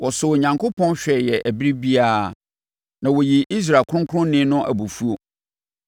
Wɔsɔɔ Onyankopɔn hwɛeɛ ɛberɛ biara; na wɔyii Israel Ɔkronkronni no abufuo.